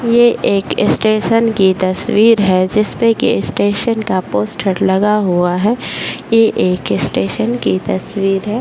ये एक स्टेशन की तस्वीर है जिसपे एक स्टेशन का पोस्टर लगा हुआ है | ये एक स्टेशन की तस्वीर है |